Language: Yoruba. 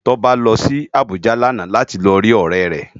Toba lò si Abuja làná láti ló ri órè rè